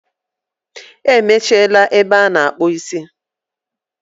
Emechiela ebe a na-akpụ isi.